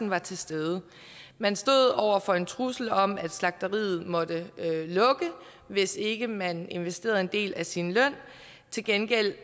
var til stede man stod over for en trussel om at slagteriet måtte lukke hvis ikke man investerede en del af sin løn til gengæld